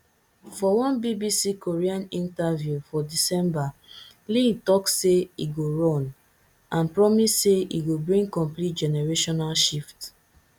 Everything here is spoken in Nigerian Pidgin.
for one bbc korean interview for december lee tok say e go run and promise say e go bring complete generational shift